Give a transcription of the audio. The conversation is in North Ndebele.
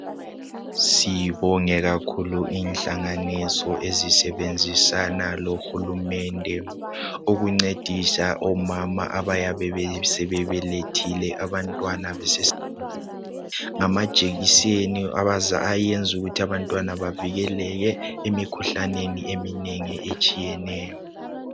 sibonge kakhulu inhlanganiso ezisebenzisana lo hulumende ukuncedisa omama abayabe sebebelethile abantwana ngamajekiseni ayenza ukuthi abantwana bavikeleke emikhuhlaneni eminengi etshiyeneyo